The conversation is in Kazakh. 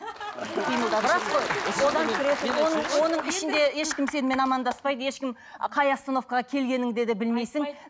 ішінде ешкім сенімен амандаспайды ешкім қай остановкаға келгеніңді де білмейсің айтпайды